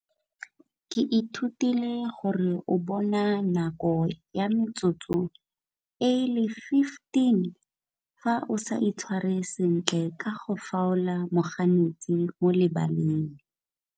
Ke ithutile gore o bona nako ya metsotso e e le fifteen ga o sa itshware sentle ka go foul-a moganetsi o le banne.